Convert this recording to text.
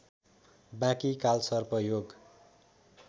बाँकी कालसर्प योग